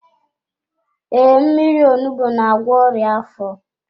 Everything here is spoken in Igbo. Ee, mmírí onugbu n'agwọ ọrịa afọ.